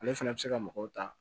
Ale fɛnɛ bɛ se ka mɔgɔw ta